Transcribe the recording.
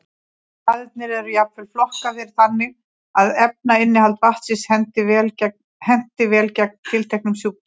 Staðirnir eru jafnvel flokkaðir þannig að efnainnihald vatnsins henti vel gegn tilteknum sjúkdómum.